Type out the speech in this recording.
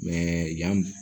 yan